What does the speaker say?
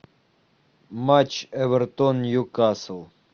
матч эвертон нью касл